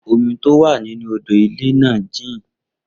Omi tó wà nínú odò ìwẹ̀ náà jìn